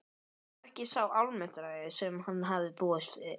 Þetta var ekki sá Almáttugi sem hann hafði búist við.